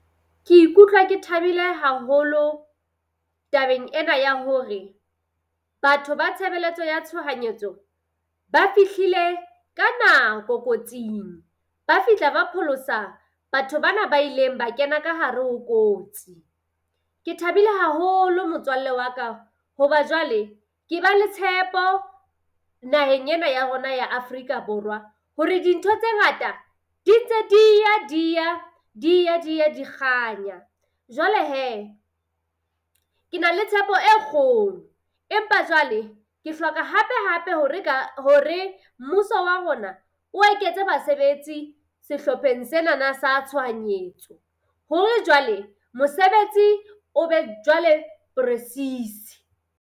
Ke ikutlwa ke thabile haholo tabeng ena ya hore batho ba tshebeletso ya tshohanyetso ba fihlile ka nako kotsing. Ba fihla ba pholosa batho ba na ba ileng ba kena ka hare ho kotsi. Ke thabile haholo motswalle wa ka hoba jwale ke ba le tshepo naheng ena ya rona ya Afrika Borwa hore dintho tse ngata di ntse dia dia dia dia di kganya. Jwale hee, ke na le tshepo e kgolo, empa jwale ke hloka hape hape hore ka hore mmuso wa rona o eketse basebetsi sehlopheng senana sa tshohanyetso hore jwale mosebetsi o be jwale presies.